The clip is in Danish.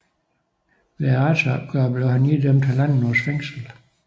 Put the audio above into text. Ved retsopgøret blev han idømt halvandet års fængsel